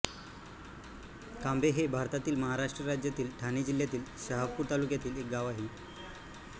कांबे हे भारतातील महाराष्ट्र राज्यातील ठाणे जिल्ह्यातील शहापूर तालुक्यातील एक गाव आहे